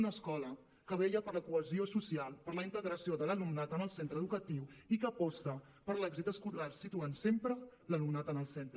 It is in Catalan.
una escola que vetlla per la cohesió social per la integració de l’alumnat en el centre educatiu i que aposta per l’èxit escolar situant sempre l’alumnat en el centre